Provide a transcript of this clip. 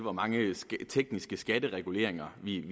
hvor mange tekniske skattereguleringer vi